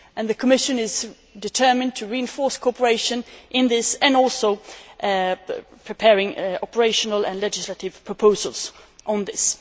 The Commission is determined to reinforce cooperation in this and is also preparing operational and legislative proposals on this.